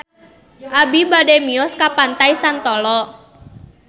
Abi bade mios ka Pantai Santolo